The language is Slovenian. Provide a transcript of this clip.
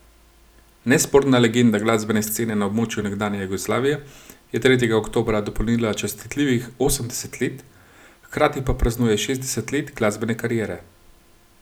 Nesporna legenda glasbene scene na območju nekdanje Jugoslavije je tretjega oktobra dopolnila častitljivih osemdeset let, hkrati pa praznuje šestdeset let glasbene kariere.